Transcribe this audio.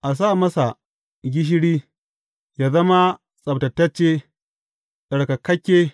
A sa masa gishiri, yă zama tsabtatacce, tsarkakakke.